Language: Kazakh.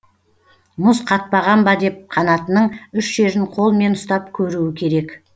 мұз қатпаған ба деп қанатының үш жерін қолмен ұстап көруі керек